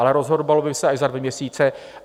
Ale rozhodovalo by se až za dva měsíce.